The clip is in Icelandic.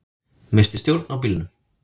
Missti stjórn á bílnum